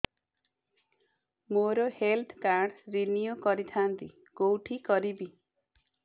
ମୋର health card renew କରିଥାନ୍ତି କୋଉଠି କରିବି